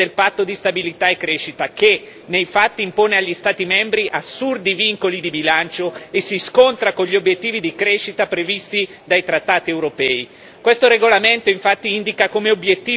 Tra queste cause una risiede proprio nell'approvazione del patto di stabilità e crescita che, nei fatti, impone agli Stati membri assurdi vincoli di bilancio e si scontra con gli obiettivi di crescita previsti dai trattati europei.